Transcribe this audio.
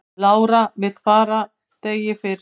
Lára vill fara degi fyrr